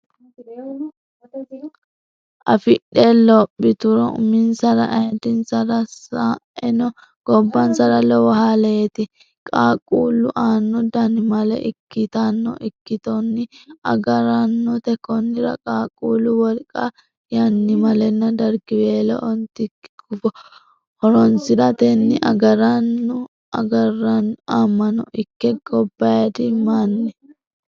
afidhe loopituro uminsara ayiddinsara sa eno gobbansara lowo haleeti Qaaqquullu aana dannimale ikkitanno ikkitonni agara annote Konnira qaaqquullu wolqa yannimalenna dargiweelo Ontikki gufo horonsi ratenni agara annu amano ikki gobbaydi manni.